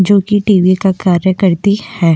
जो की टी.वी. का कार्य करती है।